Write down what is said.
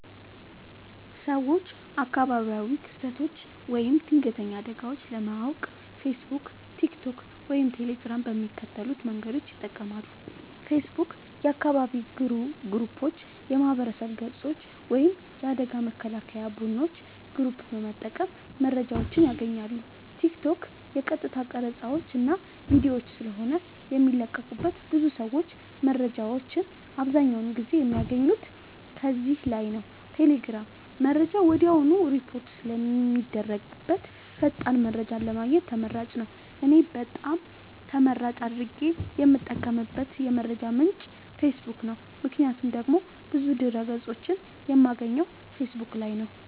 ሰወች አካባቢያዊ ክስተቶች ወይም ድንገተኛ አደጋወች ለማወቅ ፌሰቡክ ቲክቶክ ወይም ቴሌግራም በሚከተሉት መንገዶች ይጠቀማሉ ፌሰቡክ :- የአካባቢ ግሩፖች የማህበረሰብ ገፆች ወይም የአደጋ መከላከያ ቡድኖች ግሩፕ በመጠቀም መረጃወችን ያገኛሉ ቲክቶክ :- የቀጥታ ቀረፃወች እና ቪዲዮወች ስለሆነ የሚለቀቁበት ብዙ ሰወች መረጃወችን አብዛኛውን ጊዜ የሚያገኙት ከዚህ ላይ ነዉ ቴሌግራም :-መረጃ ወድያውኑ ሪፖርት ስለሚደረግበት ፈጣን መረጃን ለማግኘት ተመራጭ ነዉ። እኔ በጣም ተመራጭ አድርጌ የምጠቀምበት የመረጃ ምንጭ ፌሰቡክ ነዉ ምክንያቱም ደግሞ ብዙ ድህረ ገፆችን የማገኘው ፌሰቡክ ላይ ነዉ